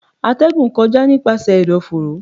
Atẹgún kọja nipasẹ ẹdọforo